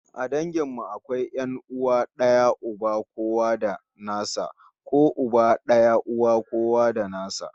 A dangin mu akwai 'yan'uwa d'aya uba kowa da nasa ko uba daya uwa kowa da nasa